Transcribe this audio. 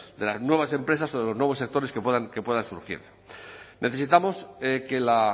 de las nuevas empresas o de los nuevos sectores que puedan surgir necesitamos que la